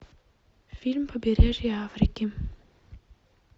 фильм побережье африки